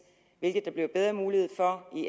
hvilket der bliver bedre mulighed for i